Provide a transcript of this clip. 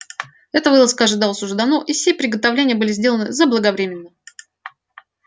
эта вылазка ожидалась уже давно и все приготовления были сделаны заблаговременно